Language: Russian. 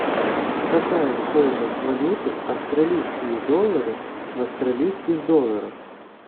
какая стоимость валюты австралийские доллары в австралийских долларах